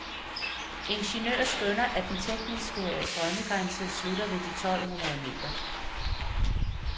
Ingeniører skønner, at den tekniske drømmegrænse slutter ved de tolv hundrede meter.